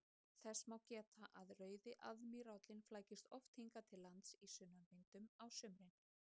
Þess má geta að rauði aðmírállinn flækist oft hingað til lands í sunnanvindum á sumrin.